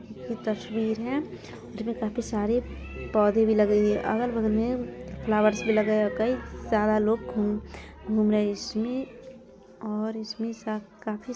ये तस्वीर है जिनमे काफी सारे पौधे भी लगे हुए हैं अगल बगल मे फ्लावर्स भी लगे हैं कई सारा लोग घूम घूम रहे इसमे और इसमे सा काफी --